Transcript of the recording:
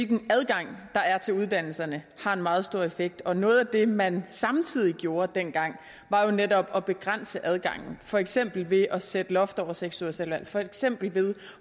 den adgang der er til uddannelserne har en meget stor effekt og noget af det man samtidig gjorde dengang var jo netop at begrænse adgangen for eksempel ved at sætte loft over seks ugers selvvalgt uddannelse for eksempel ved